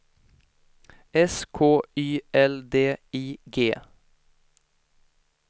S K Y L D I G